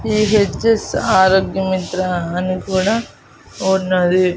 ఈ ఎడ్జెస్ ఆరోగ్య మిత్రా అని కూడా ఉన్నది.